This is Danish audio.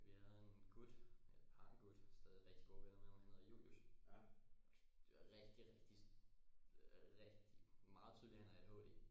Vi havde en gut eller har en gut stadig rigtig gode venner med ham han hedder Julius rigtig rigtig øh rigitg meget tydeligt han har ADHD